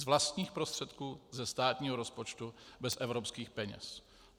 Z vlastních prostředků, ze státního rozpočtu, bez evropských peněz.